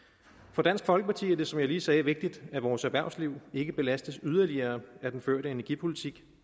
for dansk folkeparti er det som jeg lige sagde vigtigt at vores erhvervsliv ikke belastes yderligere af den førte energipolitik